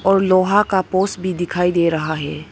और लोहा का पोस भी दिखाई दे रहा है।